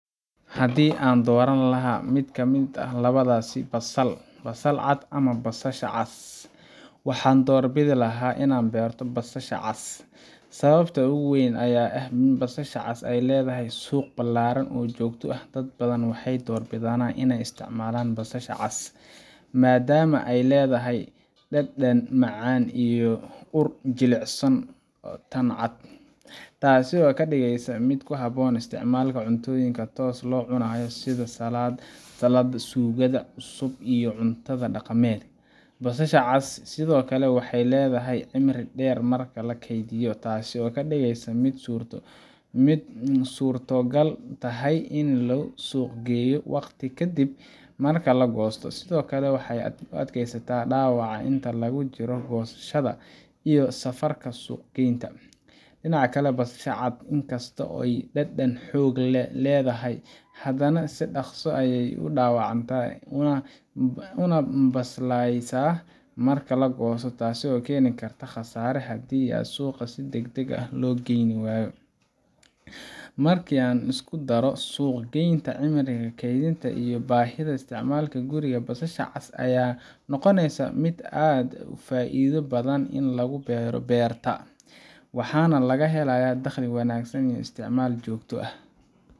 Haddii aan dooran lahaa mid ka mid ah labadaas — basasha cad ama basasha cas — waxaan doorbidi lahaa in aan beerto basasha cas. Sababta ugu weyn ayaa ah in basasha cas ay leedahay suuq ballaaran oo joogto ah. Dad badan waxay door bidaan inay isticmaalaan basasha cas maadaama ay leedahay dhadhan macaan iyo ur ka jilicsan tan cad, taasoo ka dhigaysa mid ku habboon isticmaalka cuntooyinka tooska loo cunayo sida salaadda, suugada cusub, iyo cunto dhaqameedka. Basasha cas sidoo kale waxay leedahay cimri dheer marka la keydiyo, taasoo ka dhigeysa mid ay suurtogal tahay in la suuq geeyo waqti ka dib marka la goosto. Sidoo kale, waxay u adkaysataa dhaawaca inta lagu jiro goosashada iyo safarka suuq-geynta. Dhinaca kale, basasha cad inkastoo ay dhadhan xoog leh leedahay, haddana si dhakhso ah ayay u dhaawacantaa una baslaysaa marka la goosto, taasoo keeni karta khasaare haddii aan suuqa si degdeg ah loo keenin. Marka la isku daro suuq-geynta, cimriga keydka, iyo baahida isticmaalka guriga, basasha cas ayaa noqoneysa mid aad u faa’iido badan in lagu beero beerta, waxaana laga helayaa dakhli wanaagsan iyo isticmaal joogto ah.